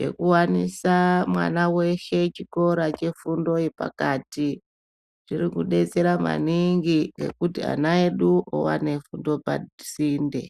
yekuwanisa mwana weshe chikora chefundo yepakati. Zviri kudetsera maningi ngekuti ana edu owane owane fundo pasinde.